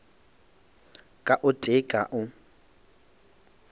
ka o tee ka o